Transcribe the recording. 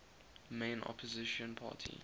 main opposition party